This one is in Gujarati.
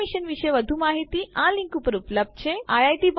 આ મિશન વિશે વધુ માહિતી આ લીંક ઉપર ઉપલબ્ધ છે httpspoken tutorialorgNMEICT Intro